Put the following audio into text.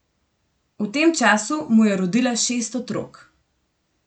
V tem času mu je rodila šest otrok.